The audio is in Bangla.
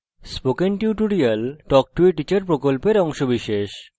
স্পোকেন টিউটোরিয়াল প্রকল্প talk to a teacher প্রকল্পের অংশবিশেষ